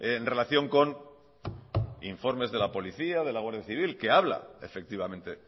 en relación con informes de la policía de la guardia civil que habla efectivamente